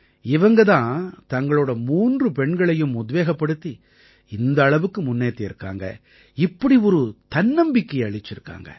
இவங்க தான் தங்களோட மூன்று பெண்களையும் உத்வேகப்படுத்தி இந்த அளவுக்கு முன்னேத்தியிருக்காங்க இப்படி ஒரு தன்னம்பிக்கையை அளிச்சிருக்காங்க